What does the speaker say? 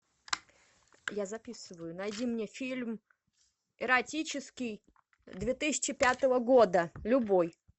я записываю найди мне фильм эротический две тысячи пятого года любой